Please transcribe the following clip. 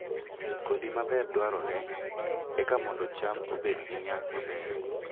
Kodhi maber dwarore eka mondo cham obed gi nyak maber